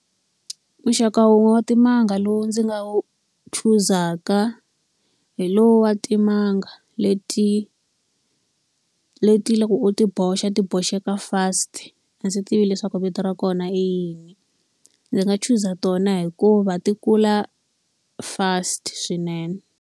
Muxaka wun'we wa timanga lowu ndzi nga wu chuzaka hi lowu wa timanga leti leti loko u ti boxa ti boxeke fast. A ndzi tivi leswaku vito ra kona i yini. Ndzi nga chuza tona hikuva ti kula fast swinene.